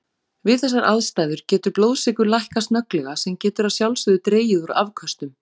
Við þessar aðstæður getur blóðsykur lækkað snögglega sem getur að sjálfsögðu dregið úr afköstum.